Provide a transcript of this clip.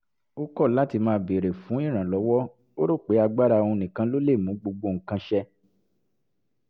ó kọ̀ láti má béèrè fún ìrànlọ́wọ́ ó rò pé agbára òun nìkan ló lè mú gbogbo nǹkan ṣẹ